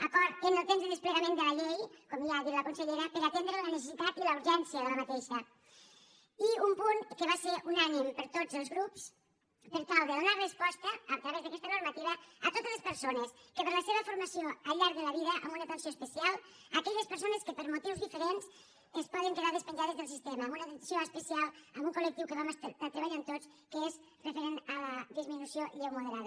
acord en el temps de desplegament de la llei com ja ha dit la consellera per atendre la necessitat i la urgència d’aquesta i un punt que va ser unànime per a tots els grups per tal de donar resposta a través d’aquesta normativa a totes les persones que per la seva formació al llarg de la vida amb una atenció especial a aquelles persones que per motius diferents es poden quedar despenjades del sistema amb una atenció especial a un collectiu que vam estar treballant tots que és referent a la disminució lleu moderada